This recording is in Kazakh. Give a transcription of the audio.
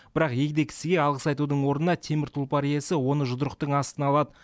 бірақ егде кісіге алғыс айтудың орнына темір тұлпар иесі оны жұдырықтың астына алады